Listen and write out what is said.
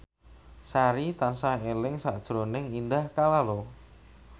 Sari tansah eling sakjroning Indah Kalalo